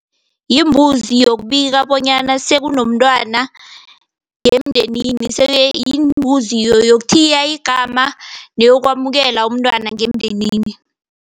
Yimbuzi yokubika bonyana sekunomntwana ngemndenini. Yimbuzi yokuthiya igama neyokwamukela umntwana ngemndenini.